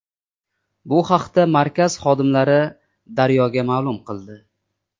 Bu haqda markaz xodimlari Daryo‘ga ma’lum qildi.